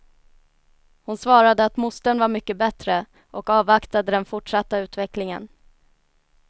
Hon svarade att mostern var mycket bättre, och avvaktade den fortsatta utvecklingen.